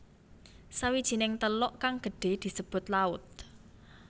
Sawijining teluk kang gedhe disebut laut